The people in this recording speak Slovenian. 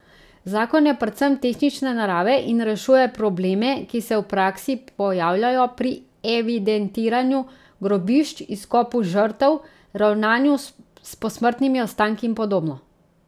Zakon je predvsem tehnične narave in rešuje probleme, ki se v praksi pojavljajo pri evidentiranju grobišč, izkopu žrtev, ravnanju s posmrtnimi ostanki in podobno.